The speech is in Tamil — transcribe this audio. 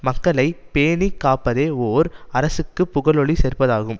மக்களை பேணி காப்பதே ஓர் அரசுக்குப் புகழொளி சேர்ப்பதாகும்